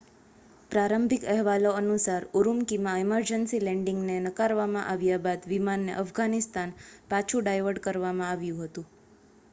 પ્રારંભિક અહેવાલો અનુસાર ઉરુમ્કીમાં ઇમરજન્સી લેન્ડિંગ ને નકારવામાં આવ્યા બાદ વિમાનને અફઘાનિસ્તાન પાછું ડાયવર્ટ કરવામાં આવ્યું હતું